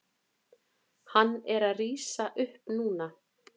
Hann er að rísa upp núna.